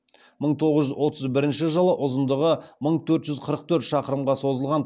мың тоғыз жүз отыз бірінші жылы ұзындығы мың төрт жүз қырық төрт шақырымға созылған